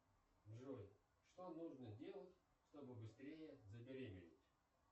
джой что нужно делать чтобы быстрее забеременеть